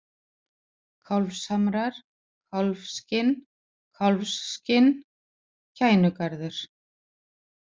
Kálfshamrar, Kálfskinn, Kálfsskinn, Kænugarður